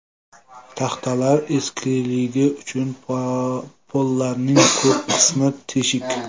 Taxtalar eskiligi uchun pollarning ko‘p qismi teshik.